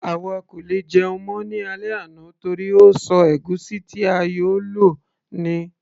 àwa kò lè jẹun mọ́ ní alẹ́ àná torí ó ṣọ ègúsí ti a yóò lò ní